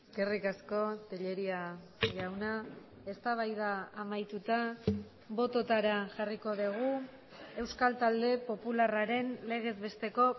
eskerrik asko tellería jauna eztabaida amaituta bototara jarriko dugu euskal talde popularraren legez besteko